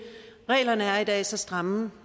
reglerne er i dag så stramme